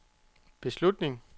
beslutning